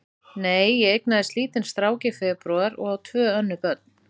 Nei, ég eignaðist lítinn strák í febrúar og á tvö önnur börn.